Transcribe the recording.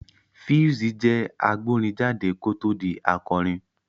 Pheelz jẹ́ agbórin jáde kó tó di akọrin